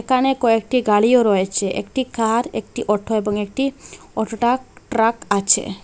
এখানে কয়েকটি গাড়িও রয়েছে একটি কার একটি অটো এবং একটি অটো টাক ট্র্যাক আছে।